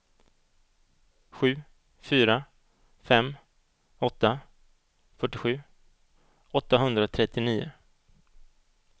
sju fyra fem åtta fyrtiosju åttahundratrettionio